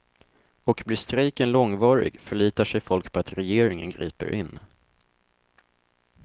Och blir strejken långvarig förlitar sig folk på att regeringen griper in.